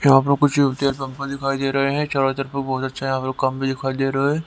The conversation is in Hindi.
यहां पर कुछ भी दिखाई दे रहे हैं चारों तरफ बहुत अच्छा यहां पर भी दिखाई दे रहा है।